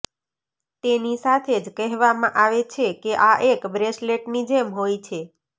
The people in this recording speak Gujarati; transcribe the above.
તેની સાથે જ કહેવામાં આવે છે કે આ એક બ્રેસલેટની જેમ હોય છે